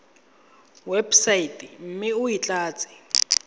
websaeteng mme o e tlatse